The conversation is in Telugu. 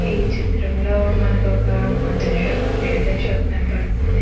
ఈ చిత్రంలో మనకి ఒక మందుల షాప్ మెడికల్ షాప్ కనపడుతుంది.